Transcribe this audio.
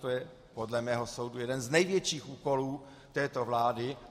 To je podle mého soudu jeden z největších úkolů této vlády.